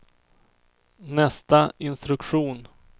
nästa instruktion